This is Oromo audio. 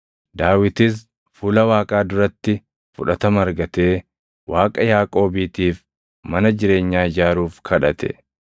Daawitis fuula Waaqaa duratti fudhatama argatee Waaqa Yaaqoobiitiif mana jireenyaa ijaaruuf kadhate.